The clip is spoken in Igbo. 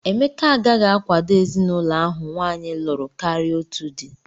Emeka agaghị akwado ezinụlọ ahụ nwaanyị lụrụ karịa otu di